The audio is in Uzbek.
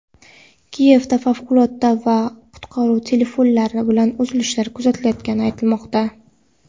Kiyevda favqulodda va qutqaruv telefonlari bilan uzilishlar kuzatilayotgani aytilmoqda.